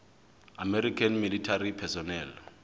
american military personnel